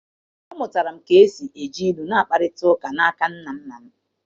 Amụtara m ka e si eji ilu na-akparịta ụka n’aka nna nna m.